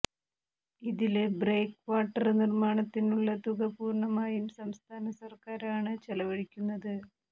ഇതില് breakwater നിര്മാണത്തിനുള്ള തുക പൂര്ണമായും സംസ്ഥാന സര്ക്കാരാണ് ചെലവഴിക്കുന്നത്